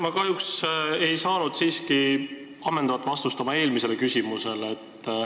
Ma kahjuks ei saanud siiski ammendavat vastust oma eelmisele küsimusele.